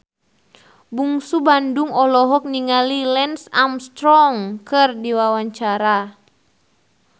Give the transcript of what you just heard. Bungsu Bandung olohok ningali Lance Armstrong keur diwawancara